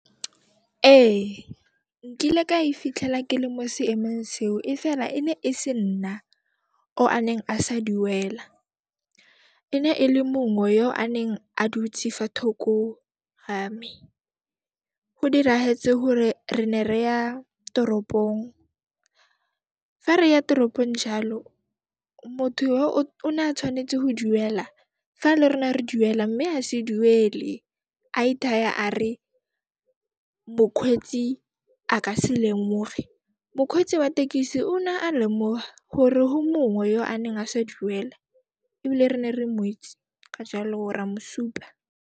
Ee, nkile ka e fitlhela ke le mo seemong seo e fela e ne e se nna o a neng a sa duela, e ne ele mongwe yo o a neng a dutse fa thoko ga me. Go hore re ne re ya toropong, fa re ya toropong jaalo, motho yoo, o ne a tshwanetse ho duela fa le rona re duela mme a se duele, a ithaya a re mokhweetsi a ka se lemoge. wa tekisi ona a lemoha hore ho mongwe yo a neng a sa duela, ebile re ne re mo itse, ka jaalo ra mo supa.